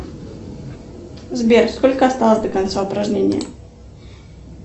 сбер сколько осталось до конца упражнения